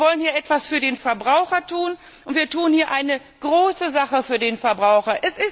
Wir wollen hier etwas für den Verbraucher tun, und dies ist eine wichtige Sache für den Verbraucher.